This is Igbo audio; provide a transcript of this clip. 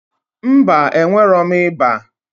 Mba, enwerọm ịba